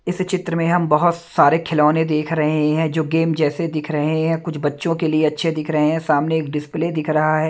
इस चित्र में हम बहुत सारे खिलौने देख रहे हैं जो गेम जैसे दिख रहे हैं कुछ बच्चों के लिए अच्छे दिख रहे हैं सामने एक डिस्प्ले दिख रहा है।